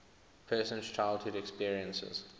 person's childhood experiences